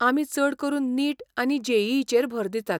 आमी चड करून 'नीट' आनी जे.ई.ई. चेर भर दितात.